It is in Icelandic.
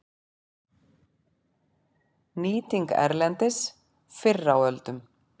Nýting erlendis fyrr á öldum